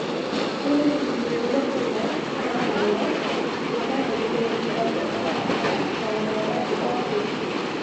Harĩ ũthuthuria ũmwe Kenya, ha mũhano, athuthuria maremirwo gũthima baida na hathara ya gũthoma kuuma kwĩ